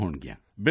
ਬਿਲਕੁਲ ਸਰ